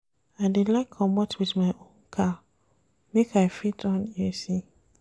I dey like comot wit my own car make I fit on AC.